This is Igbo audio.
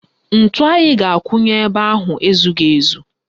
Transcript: Ntu anyị ga-akụ nye ebe ahụ ezughị ezu